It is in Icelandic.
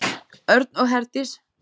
Örn og Herdís.